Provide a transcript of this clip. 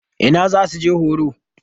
Ina za su je horo?